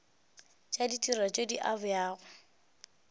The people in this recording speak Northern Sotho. tša ditirelo tše di abjago